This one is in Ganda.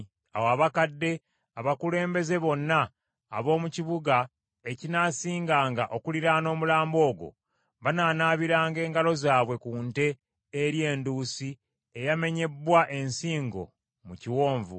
Awo abakadde abakulembeze bonna ab’omu kibuga ekinaasinganga okuliraana omulambo ogwo, banaanaabiranga engalo zaabwe ku nte eri enduusi eyamenyebbwa ensingo mu kiwonvu ,